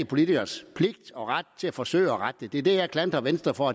politikers pligt og ret at forsøge at rette det det er det jeg klandrer venstre for